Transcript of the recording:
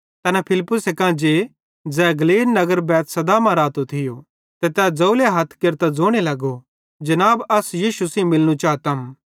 तैना फिलिप्पुसे कां जे ज़ै गलीलेरे नगर बैतसैदा मां रातो थियो तै ज़ोवले हथ केरतां ज़ोने लगे जनाब अस यीशु सेइं मिलनू चातम